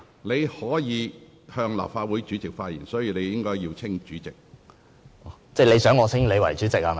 你須向立法會主席發言，所以你應稱呼我為主席。